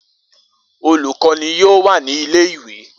Olukọni yoo wa ni ile-iwe.